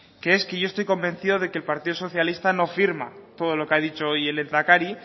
que es que yo estoy convencido de que el partido socialista no firma todo lo que ha dicho hoy el lehendakari